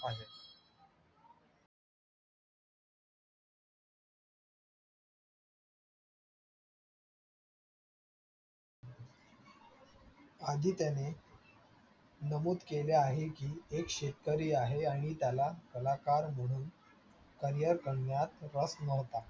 आदित्य ने नमूद केले आहे की एक शेतकरी आहे आणि त्याला कलाकार म्हणून रस नव्हता.